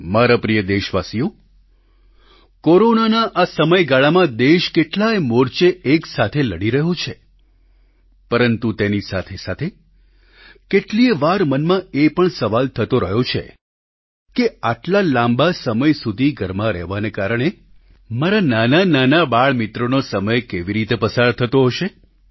મારા પ્રિય દેશવાસીઓ કોરોનાના આ સમયગાળામાં દેશ કેટલાયે મોરચે એક સાથે લડી રહ્યો છે પરંતુ તેની સાથેસાથે કેટલીયે વાર મનમાં એ પણ સવાલ થતો રહ્યો છે કે આટલા લાંબા સમય સુધી ઘરમાં રહેવાને કારણે મારા નાનાનાના બાળમિત્રોનો સમય કેવી રીતે પસાર થતો હશે